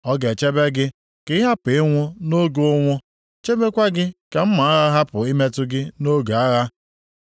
Ọ ga-echebe gị ka ị hapụ ịnwụ nʼoge ụnwụ; chebekwa gị ka mma agha hapụ ịmetụ gị nʼoge agha.